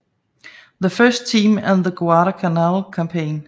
The First Team and the Guadalcanal Campaign